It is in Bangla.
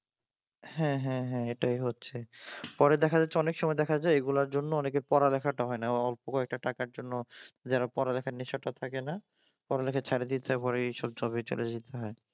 হ্যাঁ হ্যাঁ হ্যাঁ এটাই হচ্ছে পরে দেখা যাচ্ছে অনেক সময় দেখা যায় এগুলার জন্য পড়ালেখাটা হয়না অল্প কয়েকটা টাকার জন্য যারা পড়ালেখার নেশাটা থাকে না পড়ালেখা ছাড়ে দিয়ে পড়ে এসব জবে চলে যেতে হয়।